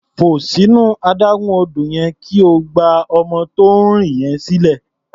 Fò sínú adágún odò yẹn kí o gba ọmọ tó ń rì yẹn sílẹ̀.